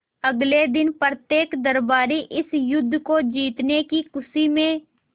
अगले दिन प्रत्येक दरबारी इस युद्ध को जीतने की खुशी में